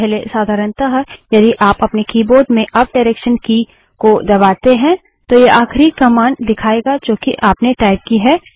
पहले साधारणतः यदि आप अपने कीबोर्ड में अप डायरेक्सन की की को दबाते हैं तो यह आखिरी कमांड दिखायेगा जो कि आपने टाइप की है